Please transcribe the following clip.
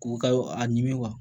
K'u ka a ɲimi